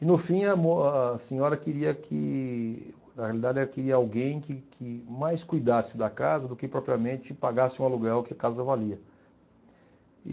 E, no fim, a mo a a senhora queria que, na realidade ela queria alguém que que mais cuidasse da casa do que propriamente pagasse o aluguel que a casa valia.